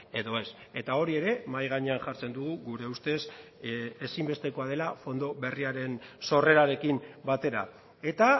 edo ez eta hori ere mahai gainean jartzen dugu gure ustez ezinbestekoa dela fondo berriaren sorrerarekin batera eta